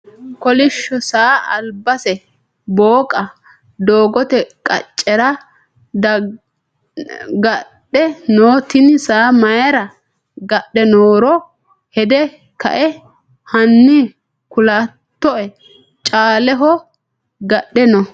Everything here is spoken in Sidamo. Kolishsho saa albase booqa doogote qaccera gadhe no tini saa mayiira gadhe nooro hede kae hani kulatoe caaleho gadhe no.